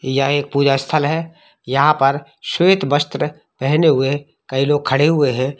यह एक पूजा स्थल है यहां पर श्वेत वस्त्र पहनें हुए कई लोग खड़े हुए है।